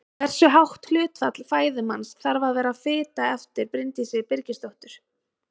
Hversu hátt hlutfall fæðu manns þarf að vera fita eftir Bryndísi Evu Birgisdóttur.